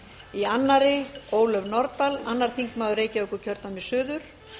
í annarri ólöf nordal annar þingmaður reykjavíkurkjördæmis suður